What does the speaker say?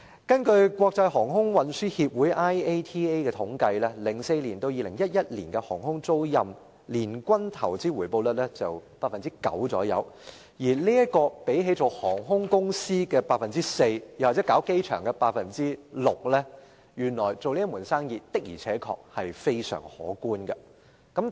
根據國際航空運輸協會統計 ，2004 年至2011年航空租賃年均投資回報率約為 9%， 相比於航空公司 4% 的回報率和機場 6% 的回報率，這門生意的回報真的相當可觀。